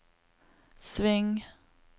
sving